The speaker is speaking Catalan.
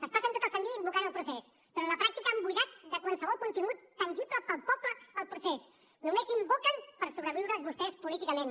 es passen tot el sant dia invocant el procés però a la pràctica han buidat de qualsevol contingut tangible per al poble el procés només invoquen per sobreviure vostès políticament